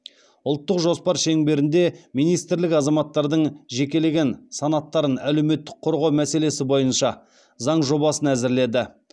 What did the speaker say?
ұлттық жоспар шеңбердінде министрлік азаматтардың жекелеген санаттарын әлеуметтік қорғау мәселесі бойынша заң жобасын әзірледі